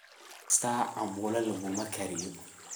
Daab kista cambulo lakuma gariyo.